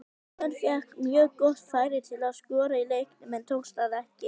Ragnar fékk mjög gott færi til að skora í leiknum en tókst það ekki.